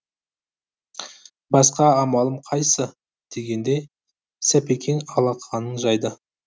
басқа амалым қайсы дегендей сапекең алақанын жайды